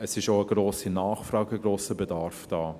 Es ist auch eine grosse Nachfrage, ein grosser Bedarf da.